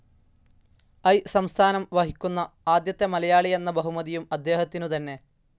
I സ്ഥാനം വഹിക്കുന്ന ആദ്യത്തെ മലയാളി എന്ന ബഹുമതിയും അദ്ദേഹത്തിനു തന്നെ.